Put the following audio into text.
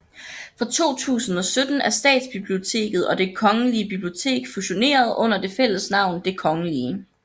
Fra 2017 er Statsbiblioteket og Det Kongelige Bibliotek fusioneret under det fælles navn Det Kgl